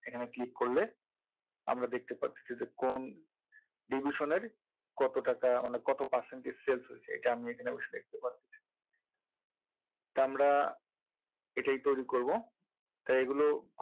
এখানে click করলে আমরা দেখতে পাচ্ছি যে কোন division এর কত টাকা মানে কত percentage sales হচ্ছে এটা আমি এখানে বসে দেখতে পাচ্ছি এটা আমরা এটাই তৈরি করব তাই এগুলো